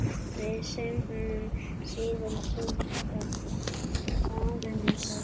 Við söknum þíns trygga faðms.